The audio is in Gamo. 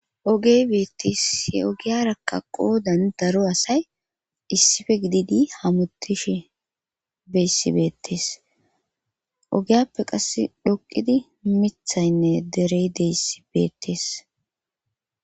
ogey beettis he ogiyarakka qoodan daro asay issife gididi hamutishi beyssi beettes ogiyappe qasse dhoqidi mithaynne derey deyssi beettes